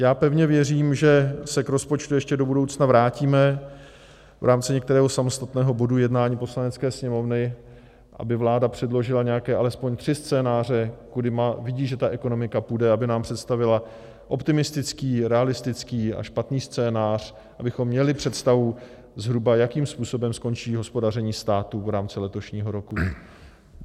Já pevně věřím, že se k rozpočtu ještě do budoucna vrátíme v rámci některého samostatného bodu jednání Poslanecké sněmovny, aby vláda předložila nějaké alespoň tři scénáře, kudy vidí, že ta ekonomika půjde, aby nám představila optimistický, realistický a špatný scénář, abychom měli představu zhruba, jakým způsobem skončí hospodaření státu v rámci letošního roku.